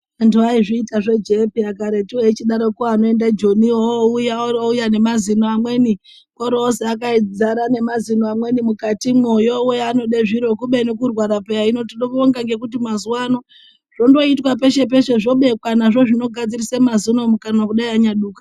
Antu aizviita zvejee peya karetu echidaroko anoende joni ouya orouya nemazino amweni orozi akadzara nemazino amweni mukatimwo yowe anode zviro kubeni kutwara peya hino tinobonga mazuwano zvondoitwa peshe peshe zvobekwa nazvo zvinogadzirise mazino mukanwa kunyai anaduka.